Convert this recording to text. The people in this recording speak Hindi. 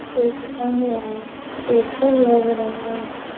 ये कोई दुकान में है। पेठा लग रहा है।